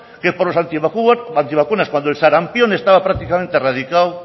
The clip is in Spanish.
que por los antivacunas cuando el sarampión estaba prácticamente erradicado